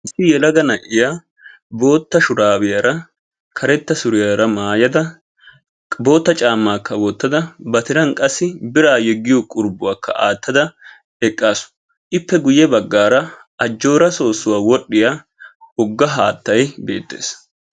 Yelaga na'iya boottaa shuraabiyaara karettaa suriyaara mayada boottaa caammmaakka wotada ba tiran qassi biraa yeggiyo qurbuwakka attada eqqaasu. ippe guye baggaara ajjooraa soossuwa wodhdhiya wogga haattay beettees.